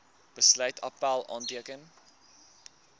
besluit appèl aanteken